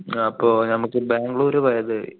ആഹ് അപ്പൊ നമുക്ക് ബാംഗ്ലൂർ പോയത്